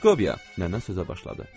Proskovya, nənə sözə başladı.